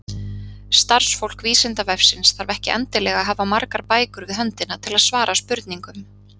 Starfsfólk Vísindavefsins þarf ekki endilega að hafa margar bækur við höndina til að svara spurningum.